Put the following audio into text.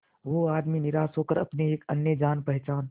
वो आदमी निराश होकर अपने एक अन्य जान पहचान